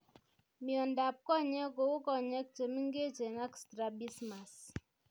Miondap konyek kou konyek chemingechen ak strabismus